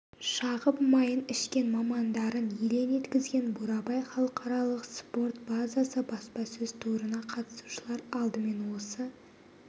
шағып майын ішкен мамандарын елең еткізген бурабай халықаралық спорт базасы баспасөз турына қатысушылар алдымен осы